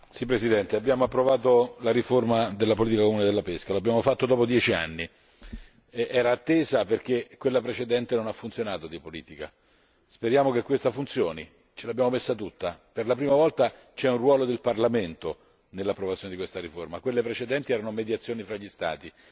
Signor Presidente, onorevoli colleghi, abbiamo approvato la riforma della politica comune della pesca, l'abbiamo fatto dopo dieci anni, era attesa perché la politica precedente non ha funzionato. Speriamo che questa funzioni. Ce l'abbiamo messa tutta. Per la prima volta c'è un ruolo del Parlamento nell'approvazione di questa riforma, quelle precedenti erano mediazioni fra gli Stati.